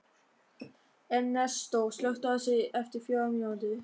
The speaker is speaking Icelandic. Ernestó, slökktu á þessu eftir fjórar mínútur.